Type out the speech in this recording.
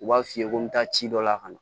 U b'a f'i ye ko n bɛ taa ci dɔ la ka na